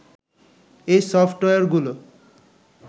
এই সফটওয়্যারগুলো